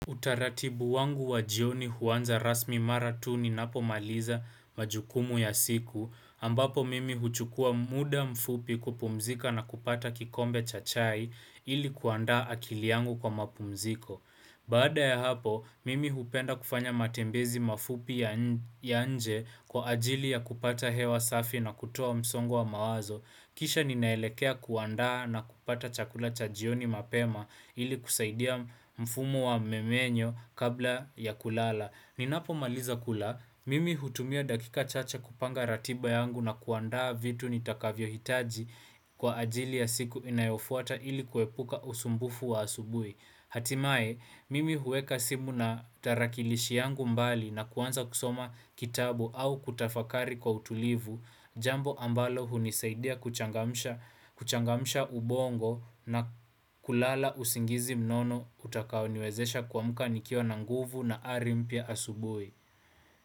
Utaratibu wangu wajioni huanza rasmi mara tu ninapomaliza majukumu ya siku, ambapo mimi huchukua muda mfupi kupumzika na kupata kikombe cha chai ili kuandaa akili yangu kwa mapumziko. Baada ya hapo, mimi hupenda kufanya matembezi mafupi ya nje kwa ajili ya kupata hewa safi na kutoa msongo wa mawazo. Kisha ninaelekea kuanda na kupata chakula cha jioni mapema ili kusaidia mfumo wa mmenyo kabla ya kulala. Ninapomaliza kula, mimi hutumia dakika chache kupanga ratiba yangu na kuandaa vitu nitakavyo hitaji kwa ajili ya siku inayofuata ili kuepuka usumbufu wa asubuhi. Hatimaye, mimi huweka simu na tarakilishi yangu mbali na kuanza kusoma kitabu au kutafakari kwa utulivu, jambo ambalo hunisaidia kuchangamsha kuchangamsha ubongo na kulala usingizi mnono utakaoniwezesha kuamuka nikiwa na nguvu na ari mpya asubuhi.